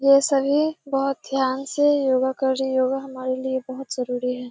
ये सभी बहुत ध्यान से योगा कर रहें हैं। योगा हमारे लिए बहुत जरुरी है।